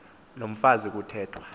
loo mfazi kuthethwa